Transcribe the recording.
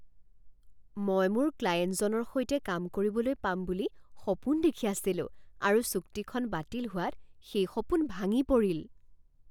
মই মোৰ ক্লায়েণ্টজনৰ সৈতে কাম কৰিবলৈ পাম বুলি সপোন দেখি আছিলোঁ আৰু চুক্তিখন বাতিল হোৱাত সেই সপোন ভাঙি পৰিল।